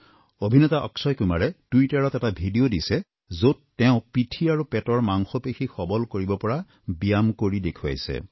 অভিনেতা অক্ষয় কুমাৰে টুইটাৰত এটা ভিডিঅ দিছে যত তেওঁ পিঠি আৰু পেটৰ মাংসপেশী সবল কৰিব পৰা ব্যায়াম কৰি দেখুৱাইছে